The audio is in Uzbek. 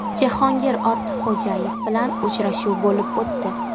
Jahongir Ortiqxo‘jayev bilan uchrashuv bo‘lib o‘tdi.